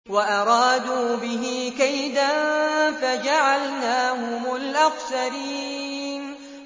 وَأَرَادُوا بِهِ كَيْدًا فَجَعَلْنَاهُمُ الْأَخْسَرِينَ